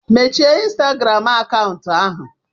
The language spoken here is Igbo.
Mechie ịnstagram akaụntụ ahụ.